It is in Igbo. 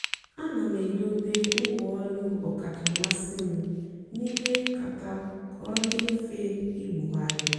àna m èdòbé ngwá ọ́lù ọ́kàchà mmasị́ m n'ímè nkátà kà ọ dị́ mfe ìbùghàrị̀.